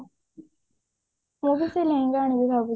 ମୁଁ ବି ସେଇ ଲେହେଙ୍ଗା ଆଣିବି ଭାବିଛି